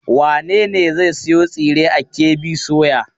Wane ne zai sayo tsire a KB soya?